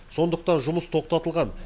сондықтан жұмыс тоқтатылған